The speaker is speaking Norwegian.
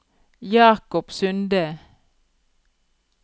Jacob Sunde